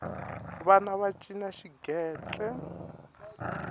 vana va cina xigentle